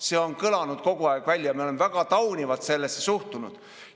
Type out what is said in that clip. See on kogu aeg kõlanud ja me oleme väga taunivalt sellesse suhtunud.